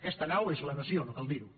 aquesta nau és la nació no cal dir ho